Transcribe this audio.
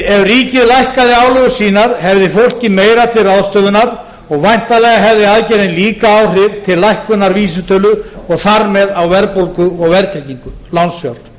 ef ríkið lækkaði álögur sínar hefði fólkið meira til ráðstöfunar og væntanlega hefði aðgerðin líka áhrif til lækkunar vísitölu og þar með á verðbólgu og verðtryggingu lánsfjár